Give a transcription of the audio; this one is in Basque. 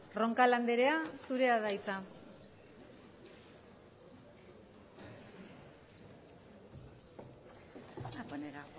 roncal anderea zurea da hitza